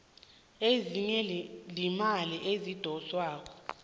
ezinye iimali ezidoswako